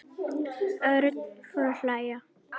Örn fór að hlæja.